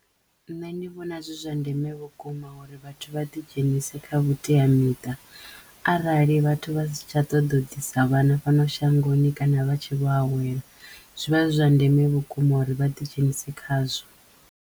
Nṋe ndi vhona zwi zwa ndeme vhukuma uri vhathu vha ḓi dzhenise kha vhuteamiṱa arali vhathu vha si tsha ṱoḓo u ḓisa vhana fhano shangoni kana vha tshe vho awela zwi vha zwi zwa ndeme vhukuma uri vha ḓi dzhenisi khazwo.